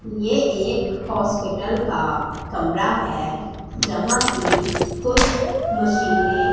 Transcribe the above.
ये एक हॉस्पिटल का कमरा है जहां की कुछ मशीन --